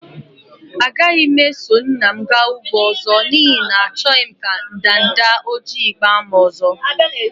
Agaghị m eso nna m gaa ugbo ọzọ, n'ihi na achọghị m ka ndanda ojii gbaa m ọzọ.